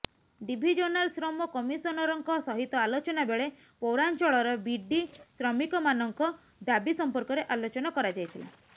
divisional ଶ୍ରମ କମିଶନରଙ୍କ ସହିତ ଆଲୋଚନା ବେଳେ ପୈାରାଚଂଳର ବିଡି ଶ୍ରମିକମାନଙ୍କ ଦାବି ସମ୍ପର୍କରେ ଆଲୋଚନା କରାଯାଇଥିଲା